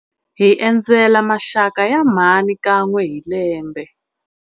Hi endzela maxaka ya mhani kan'we hi lembe.